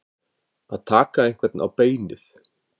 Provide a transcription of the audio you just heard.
Að taka einhvern á beinið